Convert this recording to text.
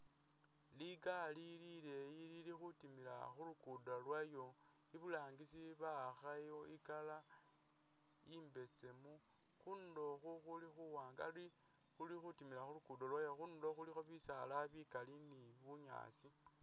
Ligaali lileyi lili khutimila khulukudo lwalyo iburangisi bawakhayo i Colour imbesemu khundulo khu khuli khuwanga likhutimila khulukudo lwayo khundulo khulikho bisaala bikaali ni bunyasi.